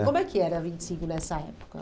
É como é que era a vinte e cinco nessa época?